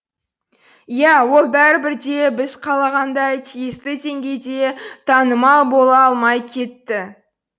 ия ол бәрібір де біз қалағандай тиісті деңгейде танымал бола алмай кетті